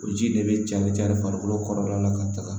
O ji de bɛ cari cari farikolo kɔrɔla la ka taga